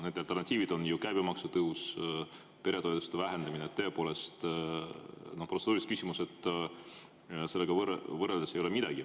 Need alternatiivid on ju käibemaksu tõus, peretoetuste vähenemine – tõepoolest, protseduuriline küsimus sellega võrreldes ei ole midagi.